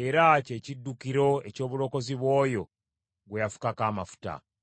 era kye kiddukiro eky’obulokozi bw’oyo gwe yafukako amafuta.